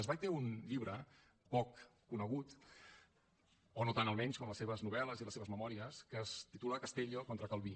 zweig té un llibre poc conegut o no tant almenys com les seves novel·les i les seves memòries que es titula castellio contra calví